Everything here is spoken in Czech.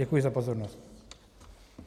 Děkuji za pozornost.